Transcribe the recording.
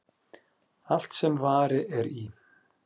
Allt sem vari er í.